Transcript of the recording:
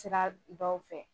Sira dibaaw fɛ